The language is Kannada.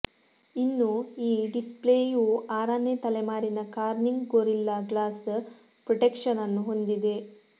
ಇನ್ನು ಈ ಡಿಸ್ಪ್ಲೇಯು ಆರನೇ ತಲೆಮಾರಿನ ಕಾರ್ನಿಂಗ್ ಗೊರಿಲ್ಲಾ ಗ್ಲಾಸ್ ಪ್ರೊಟೆಕ್ಷನ್ ಅನ್ನು ಹೊಂದಿದೆ